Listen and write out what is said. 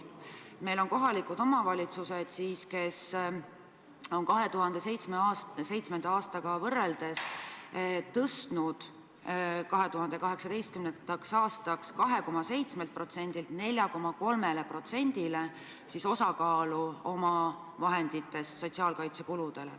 Meil on selliseid kohalikke omavalitsusi, kes on 2007. aastaga võrreldes suurendanud omavahenditest makstavate sotsiaalkaitsekulude osakaalu 2018. aastaks 2,7%-lt 4,3%-le.